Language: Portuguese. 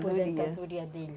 A aposentadoria dele.